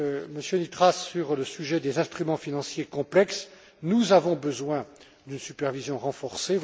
Monsieur Nitras, sur le sujet des instruments financiers complexes, nous avons besoin d'une supervision renforcée.